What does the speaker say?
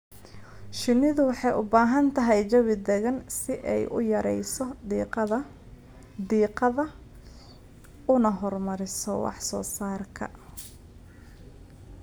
Shinnidu waxay u baahan tahay jawi degan si ay u yarayso diiqada una horumariso wax soo saarka.